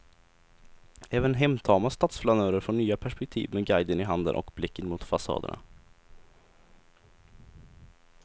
Även hemtama stadsflanörer får nya perspektiv med guiden i handen och blicken mot fasaderna.